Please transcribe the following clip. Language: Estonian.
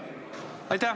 Aitäh!